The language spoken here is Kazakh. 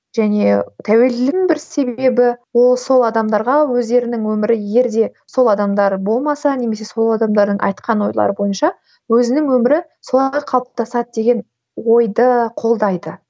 және тәуелдігінің бір себебі ол сол адамдарға өздерінің өмірі егер де сол адамдары болмаса немесе сол адамдардың айтқан ойлары бойынша өзінің өмірі солай қалыптасады деген ойды қолдайды